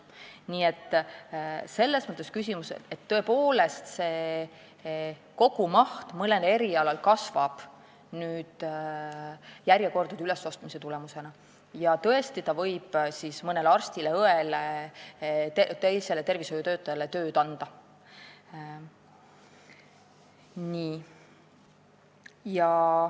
Nii et see kogumaht tõepoolest mõnel erialal kasvab järjekordade ülesostmise tulemusena ja võib mõnele arstile, õele või teisele tervishoiutöötajale tööd juurde anda.